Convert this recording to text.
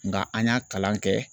Nka an y'a kalan kɛ.